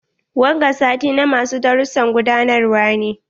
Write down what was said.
Wanga sati na ma su dasussan gudanarwa ne.